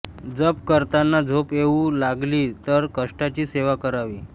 जप करताना झोप येऊ लागली तर कष्टाची सेवा करावी